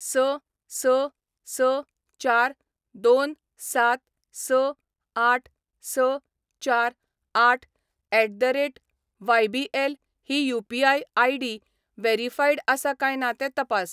स स स चार दोन सात स आठ स चार आठ एट द रेट वायबीएल ही यू.पी.आय. आय.डी. व्हेरीफाईड आसा काय ना तें तपास.